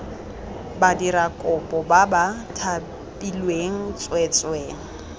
badirakopo ba ba thapilweng tsweetswee